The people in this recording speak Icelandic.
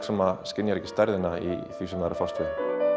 sem skynjar ekki stærðina í því sem það er að fást við